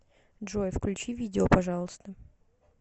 джой включи видео пожалуйста